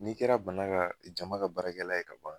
N'i kɛra bana ka jama ka baarakɛla ye ka ban.